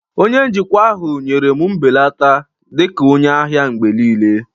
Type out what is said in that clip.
Onye njikwa ahụ nyere m mbelata dị ka onye ahịa mgbe niile